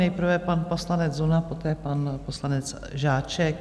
Nejprve pan poslanec Zuna, poté pan poslanec Žáček.